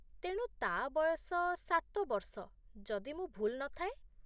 ତେଣୁ, ତା' ବୟସ ସାତ ବର୍ଷ, ଯଦି ମୁଁ ଭୁଲ୍ ନ ଥାଏ।